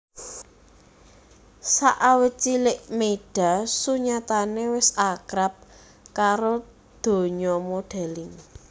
Sakawit cilik Meyda sunyatane wis akrab karo donya modeling